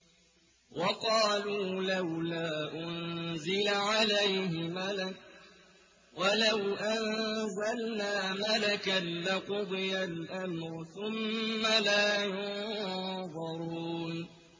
وَقَالُوا لَوْلَا أُنزِلَ عَلَيْهِ مَلَكٌ ۖ وَلَوْ أَنزَلْنَا مَلَكًا لَّقُضِيَ الْأَمْرُ ثُمَّ لَا يُنظَرُونَ